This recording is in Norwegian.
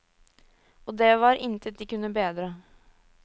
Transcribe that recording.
Og det var intet de kunne bedre.